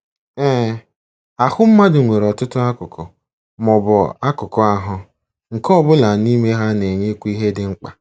Ee, ahụ́ mmadụ nwere ọtụtụ akụkụ, ma ọ bụ akụkụ ahụ́, nke ọ bụla n’ime ha na-enyekwa ihe dị mkpa.